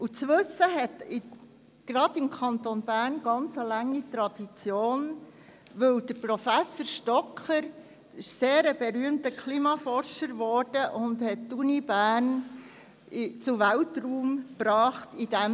Das Wissen hat im Kanton Bern eine sehr lange Tradition, weil Professor Thomas Stocker ein sehr berühmter Klimaforscher ist, der den Kanton Bern bei diesem Thema zu Weltruhm brachte.